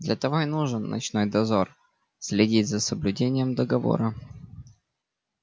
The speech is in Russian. для того и нужен ночной дозор следить за соблюдением договора